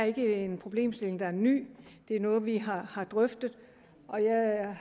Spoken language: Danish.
ikke en problemstilling der er ny det er noget vi har har drøftet